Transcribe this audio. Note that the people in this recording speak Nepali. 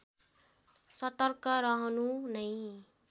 सतर्क रहनु नै